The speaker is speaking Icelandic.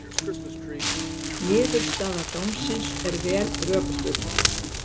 Niðurstaða dómsins er vel rökstudd